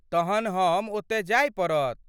तहन हम ओत जाए पडत